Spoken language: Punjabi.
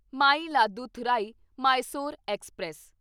ਮਾਇਲਾਦੁਥੁਰਾਈ ਮਾਇਸੋਰ ਐਕਸਪ੍ਰੈਸ